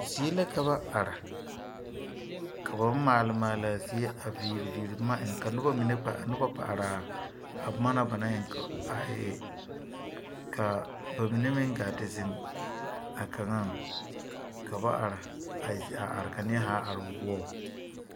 Zie la ka ba are ka ba maale maale laa zie a viiri viiri boma eŋ ka noba mine noba kpɛ are ka noba kpɛ araa a boma na ba naŋ eŋ a e e kaa ba mine meŋ gaa te zeŋ a kaŋaŋ ka ba are e a are ka neɛ zaa are o boɔbo.